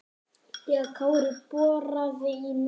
þegar Kári boraði í nefið.